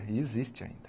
E existe ainda.